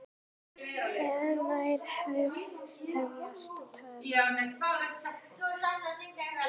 Hvenær hefjast tökur?